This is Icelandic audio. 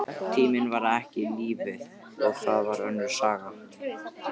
Tíminn var ekki lífið, og það var önnur saga.